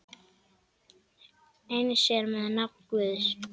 Eins er með nafn Guðs.